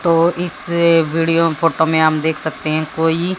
तो इस video photo मे हम देख सकते है कोई--